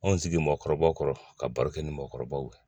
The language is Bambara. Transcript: Anw sigi mɔgɔkɔrɔbakɔrɔ ka baro kɛ ni mɔgɔkɔrɔbaw ye